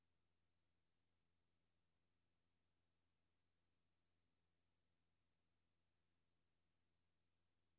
H O V E D P E R S O N E N